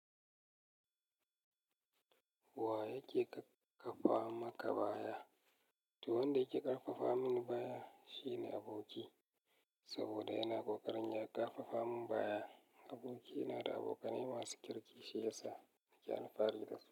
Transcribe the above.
Wa yake ƙakkafa maka baya? To wanda yake ƙarfafa mini baya shine aboki, saboda yana ƙoƙarin ya ƙarfafa mun baya. Aboki ina da abokanai masu kirki, shi yasa nake alfahari da su.